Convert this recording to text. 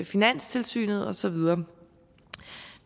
finanstilsynet og så videre